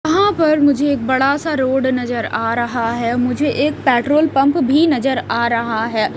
यहाँ पर मुझे एक बड़ा सा रोड नजर आ रहा है मुझे एक पेट्रोल पंप भी नजर आ रहा है।